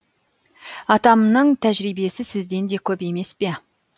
атамның тәжірибесі сізден де көп емес пе